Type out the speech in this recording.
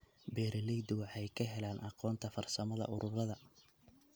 Beeraleydu waxay ka helaan aqoonta farsamada ururada.